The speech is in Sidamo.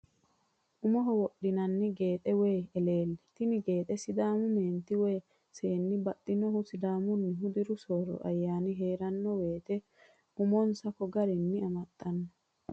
Umoho wodhinanni geexxe woyi eleelle, tini geexxe sidaamu meeniti woyi seeni baxinohu sidaamunihu diru sooro ayyani heerano woyite umoni'sa ko garinni amaxanno